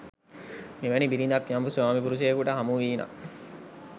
මෙවැනි බිරිඳක් යම් ස්වාමිපුරුෂයෙකුට හමුවීනම්